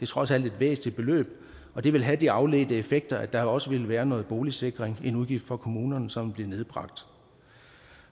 trods alt et væsentligt beløb og det ville have de afledte effekter at der også ville være noget boligsikring en udgift for kommunerne som blev nedbragt